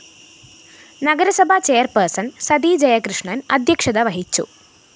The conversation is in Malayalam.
നഗരസഭാ ചെയർപേഴ്സൺ സതി ജയകൃഷ്ണന്‍ അദ്ധ്യക്ഷത വഹിച്ചു